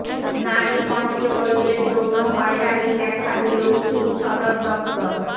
নারী কনস্টবলদের যৌন হয়রানির ব্যাখ্যা দিলো পুলিশ সদর দফতর